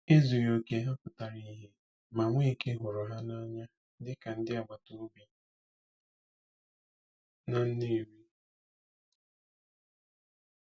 Ezughị okè ha pụtara ìhè, ma Nweke hụrụ ha n'anya dịka ndị agbata obi na Nnewi.